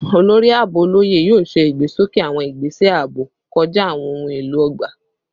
Olori Aabo Oloye yoo ṣe igbesoke awọn igbese aabo kọja awọn ohun elo ogba